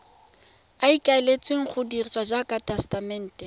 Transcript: ikaeletsweng go dirisiwa jaaka tesetamente